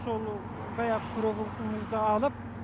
сол баяғы күрегімізді алып